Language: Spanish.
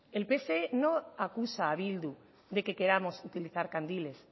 el pse no acusa a bildu de que queramos utilizar candiles